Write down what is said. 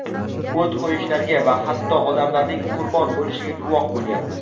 o‘t qo‘yishlarga va hatto odamlarning qurbon bo‘lishiga guvoh bo‘lyapmiz.